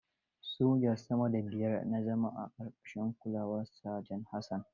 Soja sama da biyar na zama a ƙarƙashin kulawar Saja Hassan.